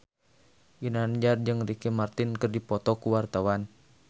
Ginanjar jeung Ricky Martin keur dipoto ku wartawan